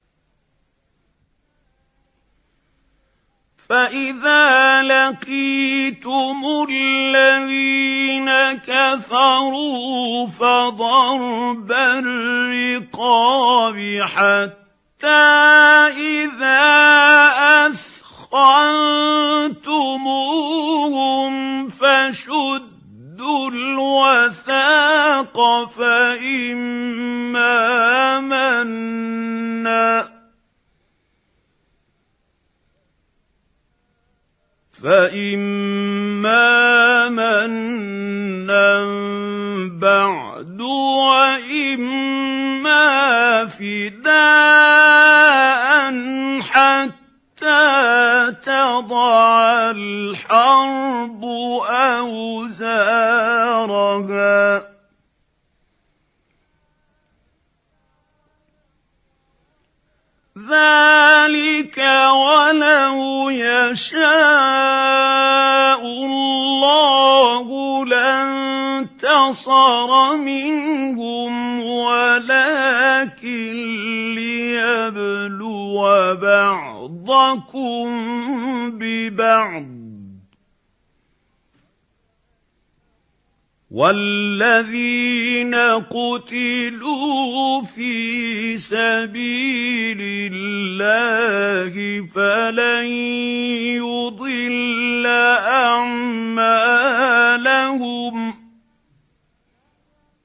فَإِذَا لَقِيتُمُ الَّذِينَ كَفَرُوا فَضَرْبَ الرِّقَابِ حَتَّىٰ إِذَا أَثْخَنتُمُوهُمْ فَشُدُّوا الْوَثَاقَ فَإِمَّا مَنًّا بَعْدُ وَإِمَّا فِدَاءً حَتَّىٰ تَضَعَ الْحَرْبُ أَوْزَارَهَا ۚ ذَٰلِكَ وَلَوْ يَشَاءُ اللَّهُ لَانتَصَرَ مِنْهُمْ وَلَٰكِن لِّيَبْلُوَ بَعْضَكُم بِبَعْضٍ ۗ وَالَّذِينَ قُتِلُوا فِي سَبِيلِ اللَّهِ فَلَن يُضِلَّ أَعْمَالَهُمْ